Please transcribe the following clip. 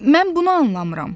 Mən bunu anlamıram.